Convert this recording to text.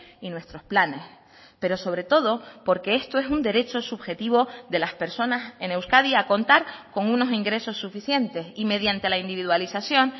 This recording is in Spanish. y nuestros planes pero sobre todo porque esto es un derecho subjetivo de las personas en euskadi a contar con unos ingresos suficientes y mediante la individualización